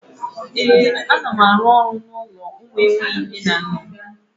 Ee, ana m arụ n'ụlọ ụmụ enweghi nne na nna